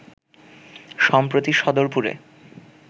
সম্প্রতি সদরপুরে